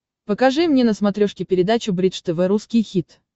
покажи мне на смотрешке передачу бридж тв русский хит